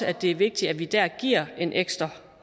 at det er vigtig at vi der giver en ekstra